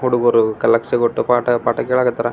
White board ಫೆ ಚಿತ್ರ ಬಿಡಸ್ಯಾ.